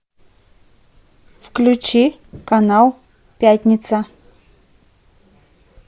включи канал пятница